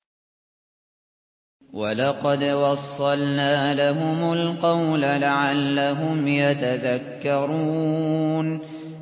۞ وَلَقَدْ وَصَّلْنَا لَهُمُ الْقَوْلَ لَعَلَّهُمْ يَتَذَكَّرُونَ